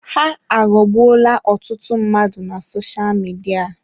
Ha aghọọgbuola ọtụtụ mmadụ na sosha Midia.